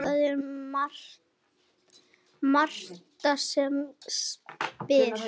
Það er Marta sem spyr.